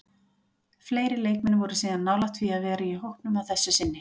Fleiri leikmenn voru síðan nálægt því að vera í hópnum að þessu sinni.